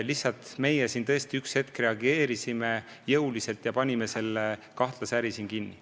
Lihtsalt meie üks hetk reageerisime jõuliselt ja panime selle kahtlase äri siin kinni.